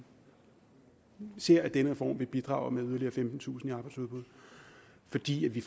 ser at den reform vil bidrage med yderligere femtentusind i arbejdsudbud fordi vi